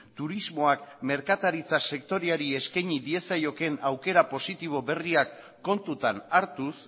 turismoak merkataritza sektoreari eskaini diezaiokeen aukera positibo berriak kontutan hartuz